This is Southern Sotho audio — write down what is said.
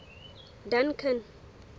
duncan